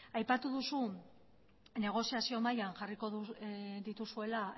aipatu duzu negoziazio mailan jarriko dituzuela